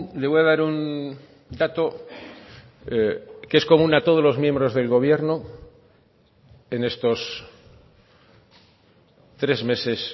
le voy a dar un dato que es común a todos los miembros del gobierno en estos tres meses